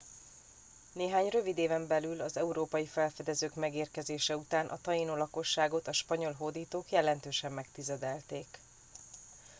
néhány rövid éven belül az európai felfedezők megérkezése után a tainó lakosságot a spanyol hódítok jelentősen megtizedelték